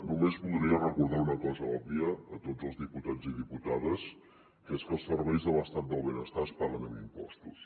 només voldria recordar una cosa òbvia a tots els diputats i diputades que és que els serveis de l’estat del benestar es paguen amb impostos